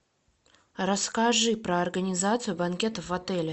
расскажи про организацию банкетов в отеле